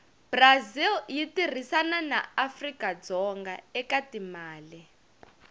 brazil yitirhisana naafrikadzonga ekatimale